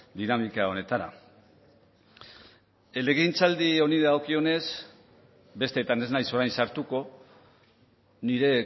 dinamika honetara legegintzaldi honi dagokionez bestetan ez naiz orain sartuko nire